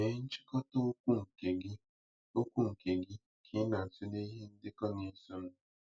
Mee nchịkọta okwu nke gị okwu nke gị ka ị na-atụle ihe ndekọ na-esonụ.